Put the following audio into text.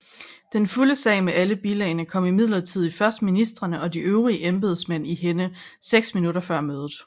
Den fulde sag med alle bilagene kom imidlertid først ministrene og de øvrige embedsmænd i hænde seks minutter før mødet